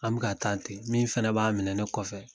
An bɛ ka taa ten min fɛnɛ b'a minɛ ne kɔfɛ